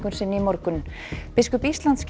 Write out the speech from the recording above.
sinni í morgun biskup Íslands gerði